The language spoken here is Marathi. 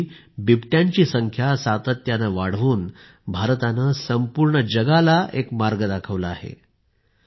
अशा वेळी बिबट्यांची संख्या सातत्याने वाढवून भारताने संपूर्ण जगाला एक मार्ग दाखविला आहे